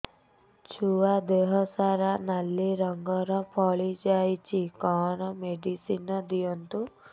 ଛୁଆ ଦେହ ସାରା ନାଲି ରଙ୍ଗର ଫଳି ଯାଇଛି କଣ ମେଡିସିନ ଦିଅନ୍ତୁ